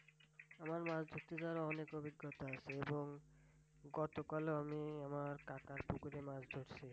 আমার মাছ ধরতে যাওয়ার অনেক অভিজ্ঞতা আছে এবং গতকালও আমি আমার কাকার পুকুরে মাছ ধরছি।